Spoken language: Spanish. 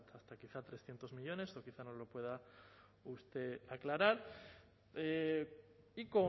hasta quizá trescientos millónes esto quizá nos lo pueda usted aclarar y